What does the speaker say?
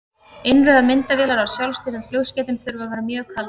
Innrauðar myndavélar á sjálfstýrðum flugskeytum þurfa að vera mjög kaldar.